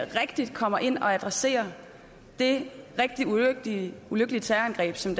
rigtig kommer ind og adresserer det rigtig ulykkelige ulykkelige terrorangreb som